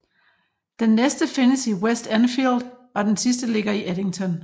Den næste findes i West Enfield og den sidste ligger i Eddington